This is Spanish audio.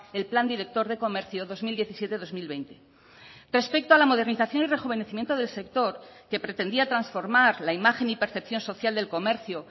el plan director de comercio dos mil diecisiete dos mil veinte respecto a la modernización y rejuvenecimiento del sector que pretendía transformar la imagen y percepción social del comercio